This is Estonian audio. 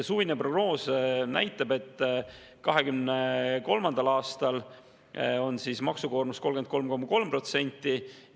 Suvine prognoos näitas, et 2023. aastal on maksukoormus 33,3%.